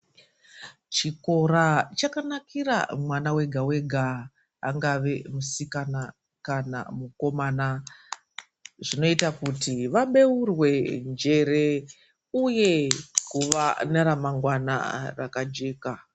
Chikora chaka nakira mwana wega wega angave musikana kana mukomana zvinoita kuti va beurwe njere uye kuva nera mangwana rakajeka.